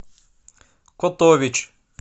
котович